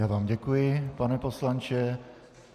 Já vám děkuji, pane poslanče.